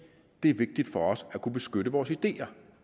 det er vigtigt for os at kunne beskytte vores ideer